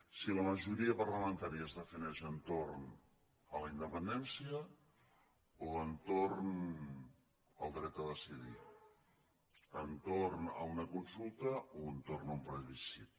si la majoria parlamentària es defineix entorn de la independència o entorn del dret a decidir entorn d’una consulta o entorn d’un plebiscit